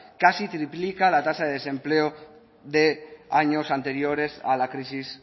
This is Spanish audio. casi triplica la tasa de desempleo de años anteriores a la crisis